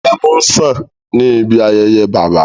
Ẹmu ń ṣàn ní ibi ayẹyẹ Bàbá